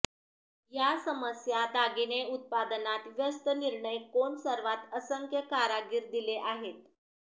या समस्या दागिने उत्पादनात व्यस्त निर्णय कोण सर्वात असंख्य कारागीर दिले आहेत